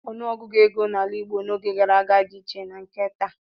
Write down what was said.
Ọnụọgụgụ ego n'ala Igbo n'oge gara aga dị iche na nke taa.